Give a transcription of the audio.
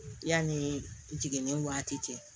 Yanni jiginni waati cɛ